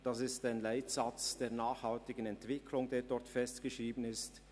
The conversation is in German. Das ist ein Leitsatz der nachhaltigen Entwicklung, der dort festgeschrieben ist.